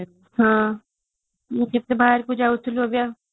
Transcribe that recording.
ହଁ ମୁଁ ଟିକେ ବାହାରକୁ ଯାଉଥିଲି ଏବେ